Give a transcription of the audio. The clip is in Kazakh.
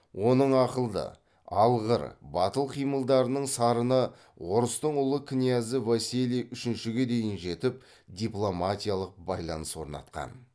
оның ақылды алғыр батыл қимылдарының сарыны орыстың ұлы князі василий үшіншіге дейін жетіп дипломатиялық байланыс орнатқан